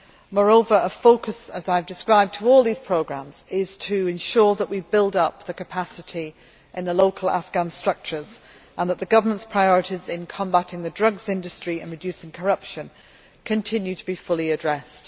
Moreover, as I have described, a focus for all these programmes is to ensure that we build up capacity in the local Afghan structures and that the government's priorities in combating the drugs industry and reducing corruption continue to be fully addressed.